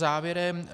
Závěrem.